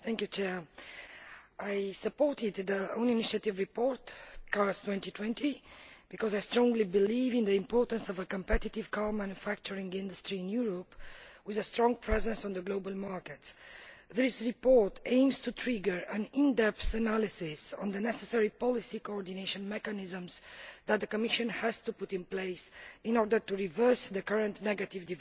Mr President, I supported the CARS 2020 own initiative report because I strongly believe in the importance of a competitive car manufacturing industry in Europe with a strong presence on the global market. This report aims to trigger in depth analysis of the necessary policy coordination mechanisms that the Commission has to put in place in order to reverse the current negative